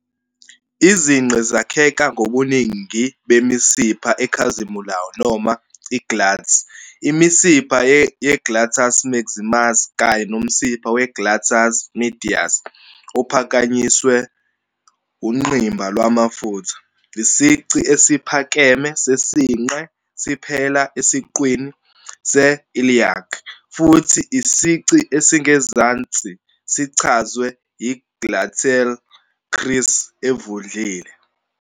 Izinqe zakheka ngobuningi bemisipha ekhazimulayo noma i-"glutes", imisipha ye-gluteus maximus kanye nomsipha we-gluteus medius, ophakanyiswe ungqimba lwamafutha. Isici esiphakeme sesinqe siphela esiqwini se-iliac, futhi isici esingezansi sichazwe yi-gluteal crease evundlile.